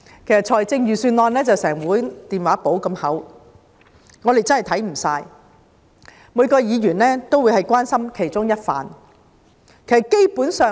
其實，預算案有一整本電話簿般厚，我們真的會看不完，每個議員只會關心其中一個範疇。